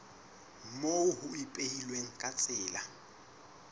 moo ho ipehilweng ka tsela